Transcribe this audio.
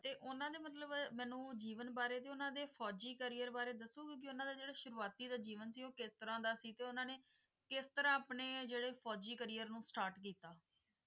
ਤੇ ਉਹਨਾਂ ਨੇ ਮਤਲਬ ਮੈਨੂੰ ਜੀਵਨ ਬਾਰੇ ਤੇ ਉਹਨਾਂ ਦੇ ਫ਼ੌਜ਼ੀ career ਬਾਰੇ ਦੱਸੋਗੇ ਕਿ ਉਹਨਾਂ ਦਾ ਜਿਹੜਾ ਸ਼ੁਰੂਆਤੀ ਦਾ ਜੀਵਨ ਸੀ ਉਹ ਕਿਸ ਤਰ੍ਹਾਂ ਦਾ ਸੀ ਤੇ ਉਹਨਾਂ ਨੇ ਕਿਸ ਤਰ੍ਹਾਂ ਆਪਣੇ ਜਿਹੜੇ ਫ਼ੌਜ਼ੀ career ਨੂੰ start ਕੀਤਾ?